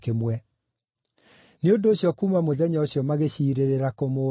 nĩ ũndũ ũcio kuuma mũthenya ũcio magĩciirĩra kũmũũraga.